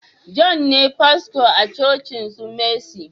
John ne fasto a cocin su messi